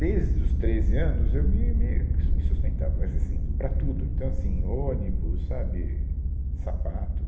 Desde os treze anos, eu me me, me sustentava, mas assim, para tudo, então assim, ônibus, sabe, sapato.